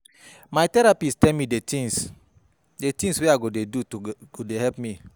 My therapist tell me di tins wey I go dey do wey go help me.